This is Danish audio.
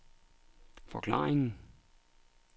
forklaringen